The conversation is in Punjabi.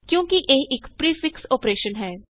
ਕਿਉਂਕਿ ਇਹ ਇਕ ਪਰੀਫਿਕਸ ਅੋਪਰੇਸ਼ਨ ਹੈ